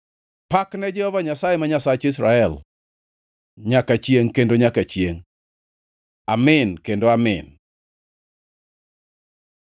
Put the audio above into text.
Pak ne Jehova Nyasaye, ma Nyasach Israel, nyaka chiengʼ kendo nyaka chiengʼ. Amin kendo Amin.